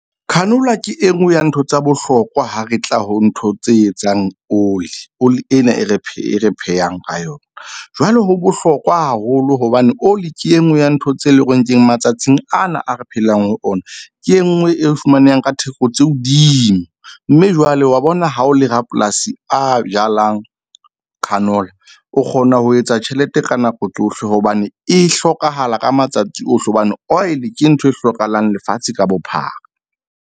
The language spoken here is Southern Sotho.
Canola ke enngwe ya ntho tsa bohlokwa ha re tla ho ntho tse etsang oli, oli ena e re phehang ka yona. Jwale ho bohlokwa haholo hobane oli ke e nngwe ya ntho tse leng hore re nke matsatsing ana. A re phelang ho ona ke e nngwe e fumaneha ka theko tse hodimo. Mme jwale wa bona ha o le rapolasi a jalang canola o kgona ho etsa tjhelete ka nako tsohle. Hobane e hlokahala ka matsatsi ohle, hobane oil ke ntho e hlokahalang lefatshe ka bophara.